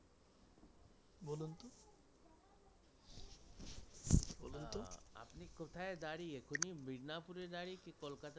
আপনি কোথায় দাঁড়িয়ে মিদনাপুরে দাঁড়িয়ে কি কোলকাতা থেকে দাঁড়িয়ে?